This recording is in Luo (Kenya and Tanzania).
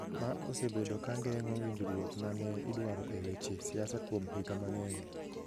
ma osebedo ka geng’o winjruok ma ne idwaro e weche siasa kuom higa mang'eny.